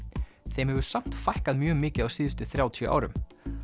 þeim hefur samt fækkað mjög mikið á síðustu þrjátíu árum